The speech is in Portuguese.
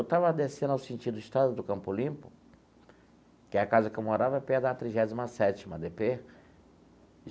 Eu estava descendo ao sentido Estrada do Campo Limpo, que a casa que eu morava é perto da trigésima sétima dê pê.